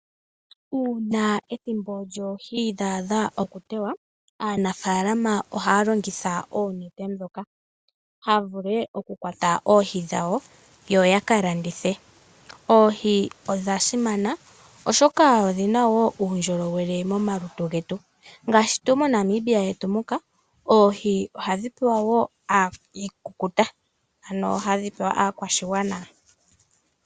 Uuna ethimbo lyoohi dha adha okuteywa aanafaalama ohaya longitha oonete, opo ya vule okukwata oohi dhawo yo ya ka landithe. Oohi odha simana, oshoka odhi na wo uundjolowele momalutu getu ngaashi moNamibia yetu muka oohi ohadhi pewa aakwashigwana onga iikulya yoshikukuta.